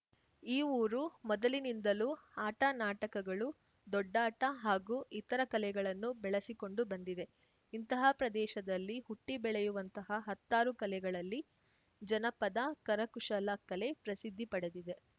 ಈ ಊರು ಮೊದಲಿನಿಂದಲೂ ಆಟನಾಟಕಗಳು ದೊಡ್ಡಾಟ ಹಾಗೂ ಇತರ ಕಲೆಗಳನ್ನು ಬೆಳೆಸಿಕೊಂಡು ಬಂದಿದೆ ಇಂತಹ ಪ್ರದೇಶದಲ್ಲಿ ಹುಟ್ಟಿಬೆಳೆಯುವಂತಹ ಹತ್ತಾರು ಕಲೆಗಳಲ್ಲಿ ಜನಪದ ಕರಕುಶಲ ಕಲೆ ಪ್ರಸಿದ್ಧಿ ಪಡೆದಿದೆ